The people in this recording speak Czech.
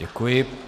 Děkuji.